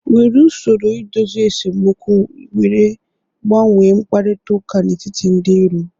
Were usoro idozi esemokwu were gbanwee mkparịta ụka n'etiti ndị iro.